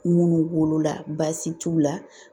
Minnu b'olu la baasi t'u la